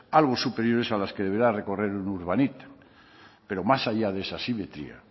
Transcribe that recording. algo superiores a las que deberá recorrer el urbanito pero más allá de esa asimetría